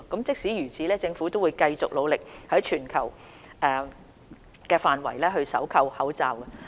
即使如此，政府仍會繼續努力，在全球範圍搜購口罩。